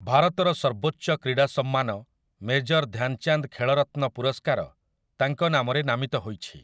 ଭାରତର ସର୍ବୋଚ୍ଚ କ୍ରୀଡ଼ା ସମ୍ମାନ 'ମେଜର୍ ଧ୍ୟାନ୍‌ଚାନ୍ଦ୍ ଖେଳରତ୍ନ ପୁରସ୍କାର' ତାଙ୍କ ନାମରେ ନାମିତ ହୋଇଛି ।